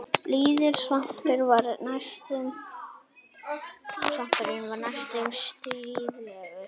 Blíður svipurinn var næstum stríðnislegur.